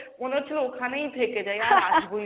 মনে হচ্ছিলো ওখানেই থেকে যাই আর অসবোই